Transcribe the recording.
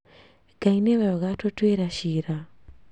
Ngai nĩwe ũgatũtuĩra ciira